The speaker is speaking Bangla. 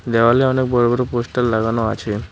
দেওয়ালে অনেক বড়ো বড়ো পোস্টার লাগানো আছে।